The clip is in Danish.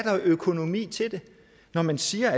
økonomi til det når man siger